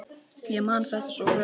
Ég man þetta svo vel.